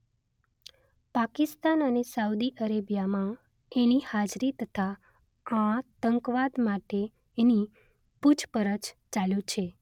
પાકિસ્તાન અને સાઉદી અરેબિયામાં એની હાજરી તથા આતંકવાદ માટે એની પુછપરછ ચાલુ છે